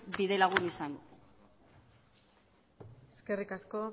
bidelagun izango eskerrik asko